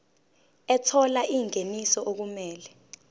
ethola ingeniso okumele